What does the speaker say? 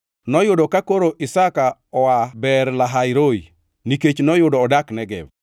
Noyudo ka koro Isaka oa Beer-Lahai-Roi, nikech noyudo odak Negev.